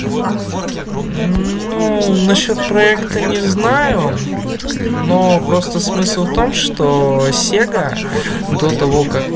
ну насчёт проекта не знаю но просто смысл в том что сега до того как